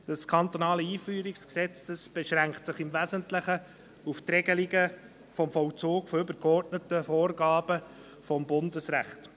Das kantonale Einführungsgesetz beschränkt sich im Wesentlichen auf die Regelung des Vollzugs übergeordneter Vorgaben des Bundesrechts.